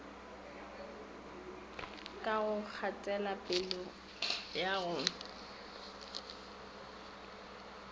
ka ga kgatelopele ya go